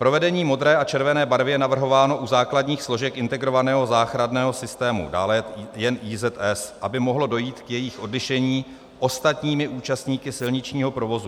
Provedení modré a červené barvy je navrhováno u základních složek integrovaného záchranného systému, dále jen IZS, aby mohlo dojít k jejich odlišení ostatními účastníky silničního provozu.